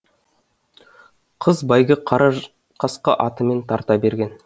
қыз бәйгі қара қасқа атымен тарта берген